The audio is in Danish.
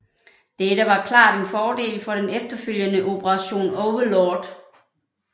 Dette var klart en fordel for den efterfølgende Operation Overlord